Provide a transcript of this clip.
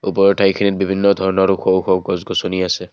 ওপৰত এক বিভিন্ন ধৰণৰ ওখ ওখ গছ গছনি আছে।